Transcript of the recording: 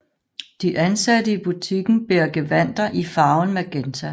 De ansatte i butikken bærer gevandter i farven magenta